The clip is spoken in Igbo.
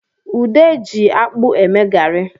Ude ji akpụ eme garị